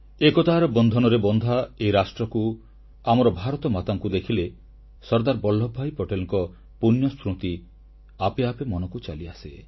ଏକତାର ବନ୍ଧନରେ ବନ୍ଧା ଏହି ରାଷ୍ଟ୍ରକୁ ଆମର ଭାରତମାତାଙ୍କୁ ଦେଖିଲେ ସର୍ଦ୍ଦାର ବଲ୍ଲଭଭାଇ ପଟେଲଙ୍କ ପୂଣ୍ୟସ୍ମୃତି ଆପେ ଆପେ ଆମ ମନକୁ ଚାଲିଆସେ